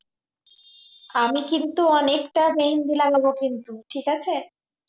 আমি কিন্তু অনেকটা মেহেন্দি লাগাব কিন্তু ঠিক আছে